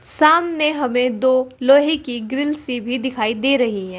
सामने हमें दो लोहे की ग्रिल्स भी दिखाई दे रही है।